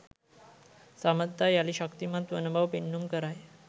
සබඳතා යළි ශක්තිමත් වන බව පෙන්නුම් කරයි